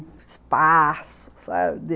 Espaço, sabe?